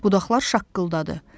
Budaqlar şaqqıldadı.